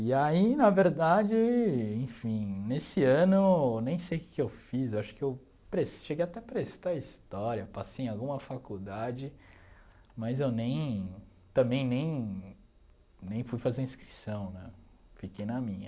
E aí, na verdade, enfim, nesse ano, nem sei o que que eu fiz, acho que eu pres cheguei até a prestar história, passei em alguma faculdade, mas eu nem também nem nem fui fazer inscrição, né, fiquei na minha.